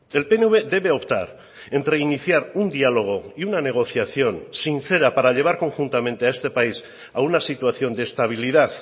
el pnv debe optar entre iniciar un diálogo y una negociación sincera para llevar conjuntamente a este país a una situación de estabilidad